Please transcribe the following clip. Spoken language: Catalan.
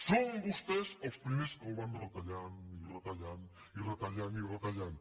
són vostès els primers que el van retallant i retallant i retallant i retallant